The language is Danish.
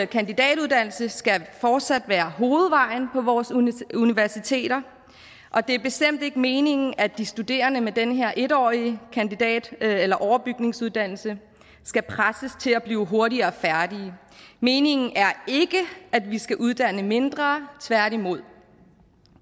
kandidatuddannelse skal fortsat være hovedvejen på vores universiteter og det er bestemt ikke meningen at de studerende med den her en årige overbygningsuddannelse skal presses til at blive hurtigere færdige meningen er ikke at vi skal uddanne mindre tværtimod